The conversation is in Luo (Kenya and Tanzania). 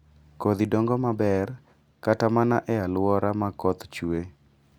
Kodhi dongo maber kata mana e alwora ma koth chue